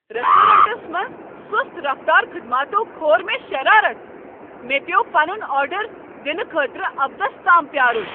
Restaurants منٛز سُست رفتار خدماتو كھور مے٘ شرارتھ ۔ مےٚ پیوٚو پنن آرڈر دنہٕ خٲطرٕ ابدس تام پیٛارٖن۔